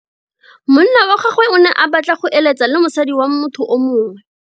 Monna wa gagwe o ne a batla go eletsa le mosadi wa motho yo mongwe.